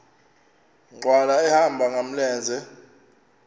nkqwala ehamba ngamlenze